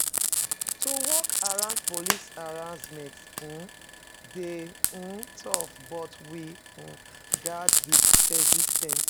To work around police harassment um dey um tough, but we gats be persis ten t.